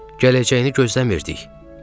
Gələcəyini gözləmirdik, dedi.